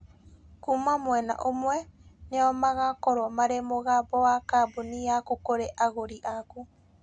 Kuuma mwena ũmwe, nĩo magakorũo marĩ mũgambo wa kambuni yaku kũrĩ agũri aku.